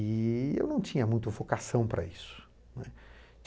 E eu não tinha muita vocação para isso, né.